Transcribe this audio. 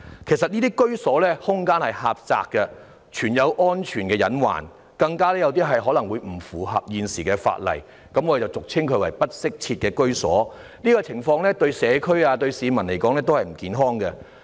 其實，這些居所的空間很狹窄，存有安全隱患，更有一些可能並不符合現時的法例，我們俗稱這類住所為"不適切居所"，這種情況對社區和市民來說並不健康。